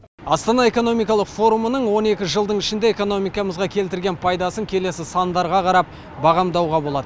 астана экономикалық форумының он екі жылдың ішінде экономикамызға келтірген пайдасын келесі сандардан бағамдауға болады